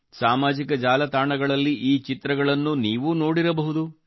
ಸಾಮಾಜಿಕ ಜಾಲತಾಣಗಳಲ್ಲಿ ಈ ಚಿತ್ರಗಳನ್ನು ನೀವೂ ನೋಡಿರಬಹುದು